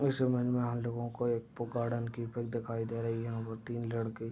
इस इमेज में हम लोगो को एक गार्डन की पिक दिखाई दे रही है। यहां पर तीन लड़के--